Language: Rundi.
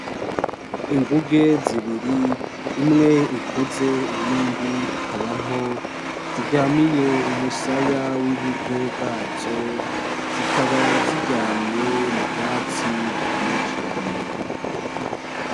Inguge zibiri, imwe ikuze iyindi ikaba into, ziryamiye umusaya w'iburyo bwazo zikaba ziryamiye mu bwatsi bwumye cane.